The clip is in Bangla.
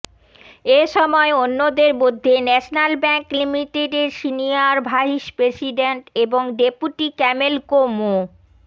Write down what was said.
এ সময় অন্যদের মধ্যে ন্যাশনাল ব্যাংক লিমিটেডের সিনিয়র ভাইস প্রেসিডেন্ট এবং ডেপুটি ক্যামেলকো মো